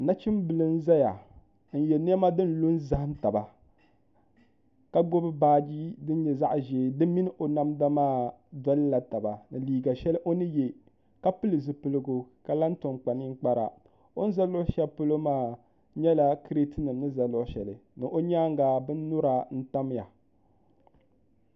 Nachin bili n zaya n yiɛ nɛma dini lu n zahim taba ka gbubi baaji dini yɛ zaɣi ʒeɛ dimi ni o namda maa dolila taba ni liiga shɛli o ni yiɛ ka pili zupiligu ka kam tom kpa ninkpara o ni za lɔɣu shɛli polo maa yɛla kriti nim ni za lɔɣu shɛli ni o yɛanga bini yura n tamiya .